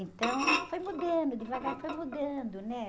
Então, foi mudando, devagar foi mudando, né?